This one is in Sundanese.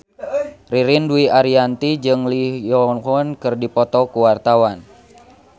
Ririn Dwi Ariyanti jeung Lee Yo Won keur dipoto ku wartawan